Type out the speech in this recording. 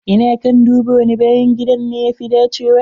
Ina kan duba wani bayan gidan ne ya fi dacewa.